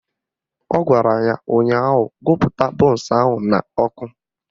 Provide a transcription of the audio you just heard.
Ọ gwara ya ụnyaahụ "Gụpụta bọnsụ ahụ n'ọkụ"